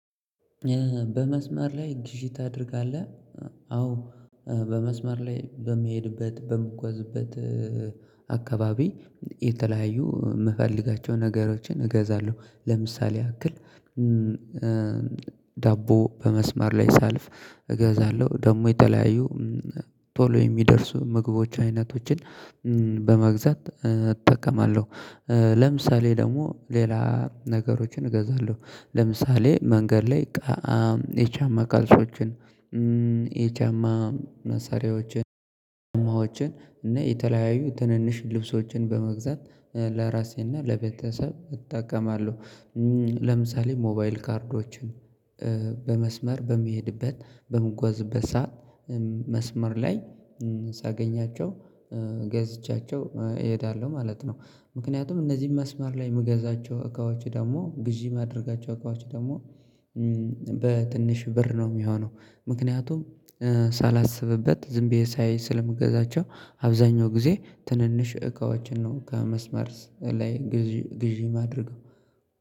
በመስመር ላይ ግዢ ታደርጋለህ? አዎ። በመስመር ላይ በሚሄድበት በምጓዝበት አካባቢ የተለያዩ የምፈልጋቸውን ነገሮችን እገዛለሁ። ለምሳሌ ያክል ዳቦ በመስመር ላይ ሳልፍ እገዛለሁ። ደግሞ የተለያዩ ቶሎ የሚደርሱ ምግቦች አይነቶችን በመግዛት እጠቀማለሁ። ለምሳሌ ደግሞ ሌላ ነገሮችን እገዛለሁ ለምሳሌ መንገድ ላይ እቃ የጫማ ቃልሶችን የጫማ መሰሪያዎችን ጫማዎችን የተለያዩ ትንንሽ ልብሶችን በመግዛት ለራሴና ለቤተሰብ እጠቀማለሁ። ለምሳሌ ሞባይል ካርዶችን በመስመር በሚሄድበት በምንጓዝበት ሰዓት መስመር ላይ ሳገኛቸው ገዝቻቸው እሄዳለሁ ማለት ነው። ምክንያቱም እነዚህን መስመር ላይ የምገዛቸው እቃዎች ደግሞ ግዢ ማድረጋቸው እቃዎች ደግሞ በትንሽ ብር ነው የሚሆነው ምክንያቱም ሳላስብበት ዝም ብዬ ሳይ ስለምገዛቸው አብዛኛው ጊዜ ትንንሽ እቃዎችን ነው ከመስመር ላይ ግዢ ማድርገው።